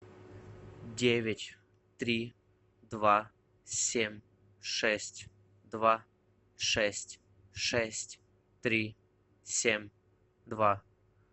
девять три два семь шесть два шесть шесть три семь два